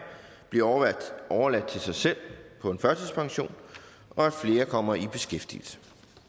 bliver overladt til sig selv på en førtidspension og at flere kommer i beskæftigelse